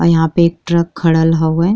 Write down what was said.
यहां पे एक ट्रक खरल हउये।